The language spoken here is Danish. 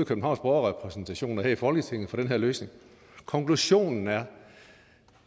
i københavns borgerrepræsentation og her i folketinget for den her løsning konklusionen er